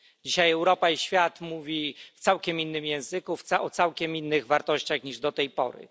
Dzisiaj Europa i świat mówi w całkiem innym języku, o całkiem innych wartościach niż do tej pory.